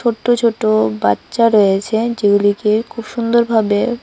ছোট্ট ছোট বাচ্চা রয়েছে যেগুলিকে খুব সুন্দরভাবে--